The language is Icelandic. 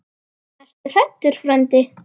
Ertu hræddur frændi?